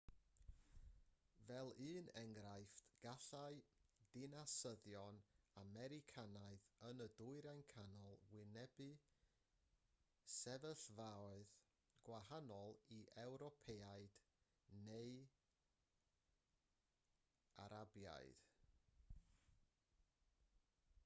fel un enghraifft gallai dinasyddion americanaidd yn y dwyrain canol wynebu sefyllfaoedd gwahanol i ewropeaid neu arabiaid